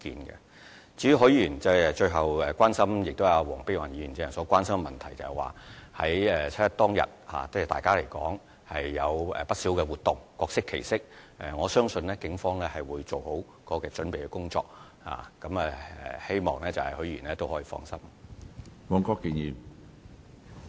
至於許議員最後提出的關注事項，亦是黃碧雲議員剛才所關心的問題，在七一當天大家會舉辦不少活動，各適其適，我相信警方會做好準備工作，希望許議員可以放心。